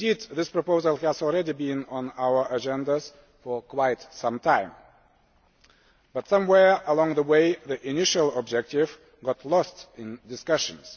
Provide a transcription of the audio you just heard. This proposal has been on our agenda for some time, but somewhere along the way the initial objective got lost in discussions.